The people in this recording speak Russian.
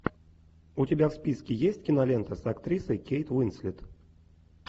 у тебя в списке есть кинолента с актрисой кейт уинслет